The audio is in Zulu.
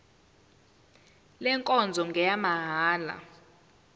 le nkonzo ngeyamahala